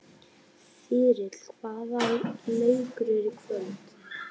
Þyrill, hvaða leikir eru í kvöld?